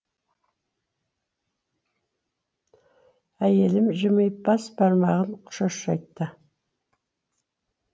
әйелім жымиып бас бармағын шошайтты